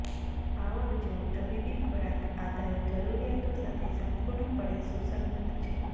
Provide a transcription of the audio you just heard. power જેઓ તબીબી ખોરાક આધાર જરૂરિયાતો સાથે સંપૂર્ણપણે સુસંગત છે